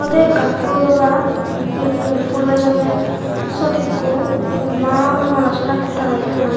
te ekkan phulo dogan eyou phul bejonne sot ekku homma malasora ekku tangge toyoun.